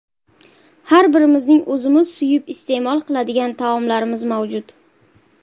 Har birimizning o‘zimiz suyib iste’mol qiladigan taomlarimiz mavjud.